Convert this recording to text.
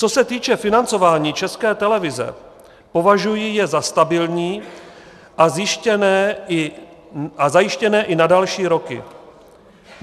Co se týče financování České televize, považuji je za stabilní a zajištěné i na další roky.